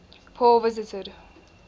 paul visited